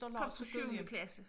Kom fra syvende klasse